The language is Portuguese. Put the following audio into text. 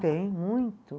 Tem, muito.